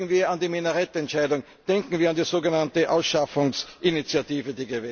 Denken wir an die Minarett Entscheidung, denken wir an die sogenannte Ausschaffungsinitiative.